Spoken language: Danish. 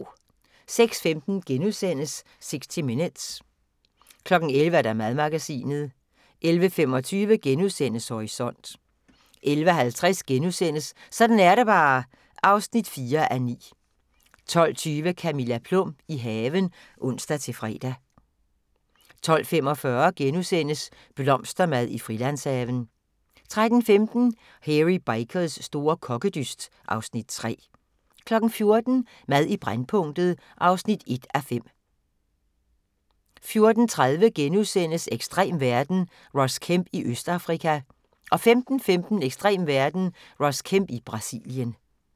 06:15: 60 Minutes * 11:00: Madmagasinet 11:25: Horisont * 11:50: Sådan er det bare (4:9)* 12:20: Camilla Plum – i haven *(ons-fre) 12:45: Blomstermad i Frilandshaven * 13:15: Hairy Bikers store kokkedyst (Afs. 3) 14:00: Mad i brændpunktet (1:5) 14:30: Ekstrem verden – Ross Kemp i Østafrika * 15:15: Ekstrem verden – Ross Kemp i Brasilien